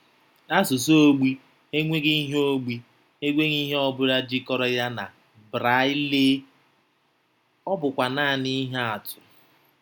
Asụsụ ogbi enweghị ihe ogbi enweghị ihe ọ bụla jikọrọ ya na Braịllee, ọ bụkwa nanị ihe atụ.